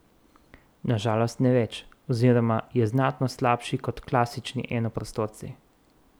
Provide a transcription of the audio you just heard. Na žalost ne več, oziroma je znatno slabši kot klasični enoprostorci.